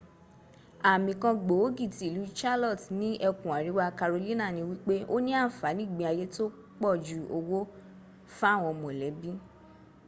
àmì kan gbòógì tí ìlú charlotte ní ẹkùn àríwá carolina ni wípé ó ní àǹfàní ìgbé ayé tó pójú owó fáwọn mọ̀lẹ́bí